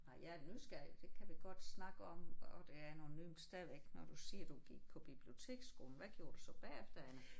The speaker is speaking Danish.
Nej jeg er nysgerrig det kan vi godt snakke om og det er nogle nye men stadigvæk når du siger du gik på biblioteksskolen hvad gjorde du så bagefter Anne?